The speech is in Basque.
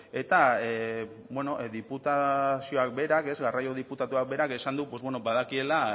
eta bueno diputazioak berak garraio diputatuak berak esan du badakiela